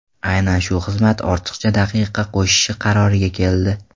Aynan shu xizmat ortiqcha daqiqa qo‘shishi qaroriga keldi.